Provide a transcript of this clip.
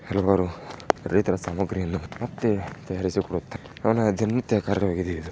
ಹಲವಾರು ರೈತರ ಸಾಮಗ್ರಿ ಎಲ್ಲವನ್ನು ಮತ್ತೆ ತಯಾರಿಸಿಕೊಡುತ್ತಾರೆ ಅವರ ದಿನನಿತ್ಯ ಕಾರ್ಯವಾಗಿದೆ ಇದು.